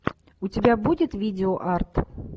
у тебя будет видео арт